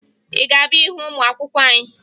Ị ga-abịa hụ ụmụ akwụkwọ anyị?